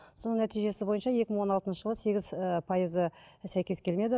соның нәтижесі бойынша екі мың он алтыншы жылы сегіз ыыы пайызы сәйкес келмеді